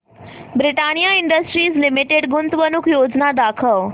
Britannia industries limited गुंतवणूक योजना दाखव